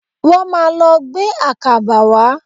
Wọ́n máà lọ gbé àkàbà wá.